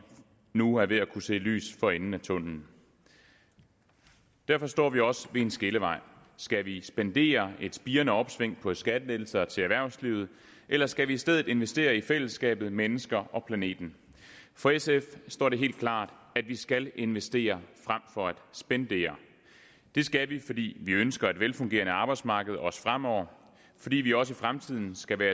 nu er ved at kunne se lys for enden af tunnellen derfor står vi også ved en skillevej skal vi spendere et spirende opsving på skattelettelser til erhvervslivet eller skal vi i stedet investere i fællesskabet mennesker og planeten for sf står det helt klart at vi skal investere frem for at spendere det skal vi fordi vi ønsker et velfungerende arbejdsmarked også fremover fordi vi også i fremtiden skal være